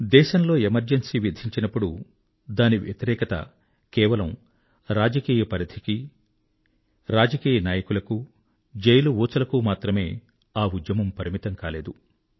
దేశంలో ఎమర్జెన్సీ విధించినపుడు దానికి వ్యతిరేకత కేవలం రాజకీయపరిధికి మాత్రం పరిమితం కాలేదు రాజకీయనాయకులకు మాత్రం పరిమితం కాలేదు జైలు ఊచలకు మాత్రం ఆ ఉద్యమం పరిమితం కాలేదు